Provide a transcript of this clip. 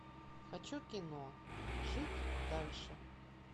хочу кино жить дальше